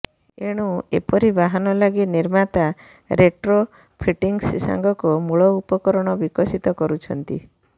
ଏଣୁ ଏପରି ବାହନ ଲାଗି ନିର୍ମାତା ରେଟ୍ରୋ ଫିଟିଙ୍ଗସ୍ ସାଙ୍ଗକୁ ମୂଳ ଉପକରଣ ବିକଶିତ କରୁଛନ୍ତି